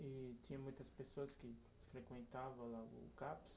E tinha muitas pessoas que frequentavam lá o Caps?